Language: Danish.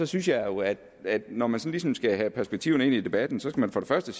synes jeg jo at at når man ligesom skal have perspektiverne ind i debatten skal man først